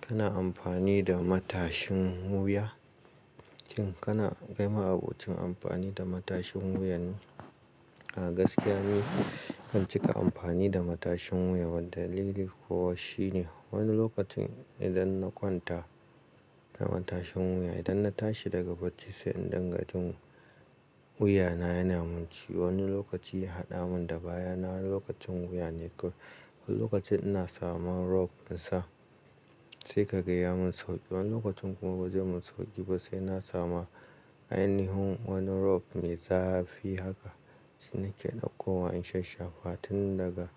Kana amfani da matashin wuya? Shin kana kai ma abocin amfani da matashin wuyane? A gaskiya ni bancika amfani da matashin wuya. Wan dalili kuwa shine wani lokacin idan na kwanta da matashin wuya, idan na tashi daga bacci sai indinga jin wuya na yana mun ci. Wani lokaci ya haɗa mun da baya na wani lokacin wuya ne. Ko wani lokaci ina samu rob insa sai ka gaya mun sauƙi. Wani lokacin kuma ba zai mun sauƙi ba sai na samu ainihin wani rob mai zafi. Haka shine ke daukowa in sha shafa tun daga